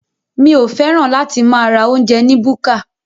Mi ò fẹ́ràn láti máa ra oúnjẹ ni búkà.